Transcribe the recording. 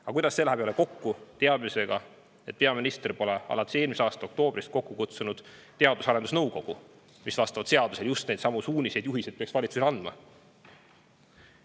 Aga kuidas see läheb kokku teadmisega, et peaminister pole alates eelmise aasta oktoobrist kokku kutsunud Teadus- ja Arendusnõukogu, mis seaduse järgi peaks valitsusele just neidsamu suuniseid ja juhiseid andma?